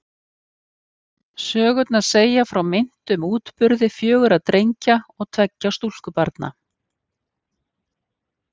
Sögurnar segja frá meintum útburði fjögurra drengja og tveggja stúlkubarna.